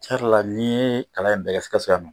tiɲan yɛrɛ la n'i ye kalan in bɛɛ Sikaso yan nɔ.